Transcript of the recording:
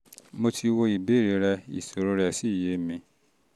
mo ti wo ìbéèrè rẹ ìṣòro rẹ́ rẹ́ sì yé mi